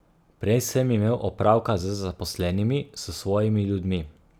Prej sem imel opravka z zaposlenimi, s svojimi ljudmi.